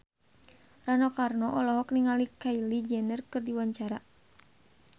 Rano Karno olohok ningali Kylie Jenner keur diwawancara